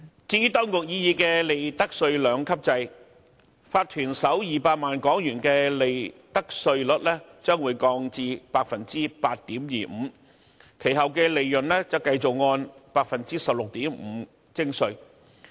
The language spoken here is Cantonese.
至於當局擬議的利得稅兩級制，法團首200萬元的利得稅率將會降至 8.25%， 其後的利潤則繼續按 16.5% 徵稅。